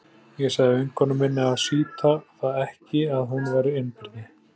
Ég sagði vinkonu minni að sýta það ekki að hún væri einbirni.